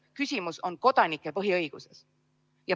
Küsimus on kodanike põhiõigustes.